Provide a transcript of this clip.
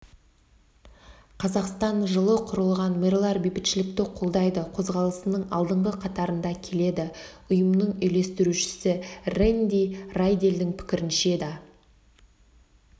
қазақстан жылы құрылған мэрлар бейбітшілікті қолдайды қозғалысының алдыңғы қатарында келеді ұйымның үйлестірушісі рэнди райделдің пікірінше да